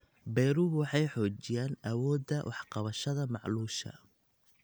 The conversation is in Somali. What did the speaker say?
Beeruhu waxay xoojiyaan awoodda wax ka qabashada macluusha.